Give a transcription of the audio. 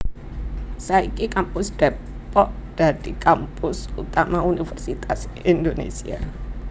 Saiki Kampus Depok dadi kampus utama Universitas Indonésia